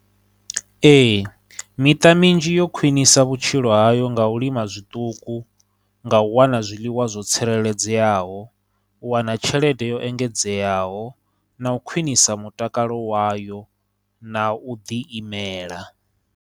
Ee, miṱa minzhi yo khwinisa vhutshilo hayo nga u lima zwiṱuku, nga u wana zwiḽiwa zwo tsireledzeaho, u wana tshelede yo engedzeaho, na u khwinisa mutakalo wayo, na u ḓi imela.